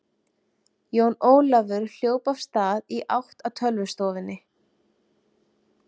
Jón Ólafur hljóp af stað í átt að tölvustofunni.